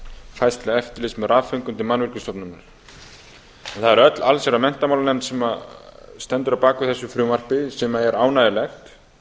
færslu eftirlits með rafföngum til mannvirkjastofnunar það er öll allsherjar og menntamálanefnd sem stendur að baki þessu frumvarpi sem er ánægjulegt